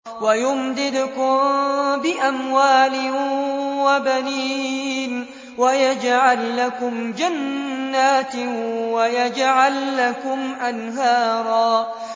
وَيُمْدِدْكُم بِأَمْوَالٍ وَبَنِينَ وَيَجْعَل لَّكُمْ جَنَّاتٍ وَيَجْعَل لَّكُمْ أَنْهَارًا